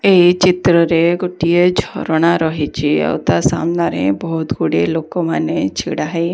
ଏଇ ଚିତ୍ର ରେ ଗୋଟିଏ ଝରଣା ରହିଚି ଆଉ ତା ସାମ୍ନାରେ ବହୁତ୍ ଗୁଡ଼ିଏ ଲୋକ ମାନେ ଛିଡା ହେଇ--